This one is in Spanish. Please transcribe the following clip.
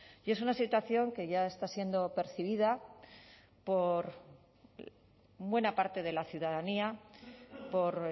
y es una situación que ya está siendo percibida por buena parte de la ciudadanía por